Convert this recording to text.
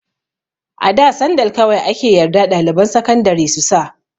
A da sandal kawai ake yarda ɗaliban sakandari su sa.